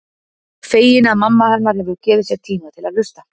Fegin að mamma hennar hefur gefið sér tíma til að hlusta.